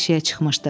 Eşiyə çıxmışdı.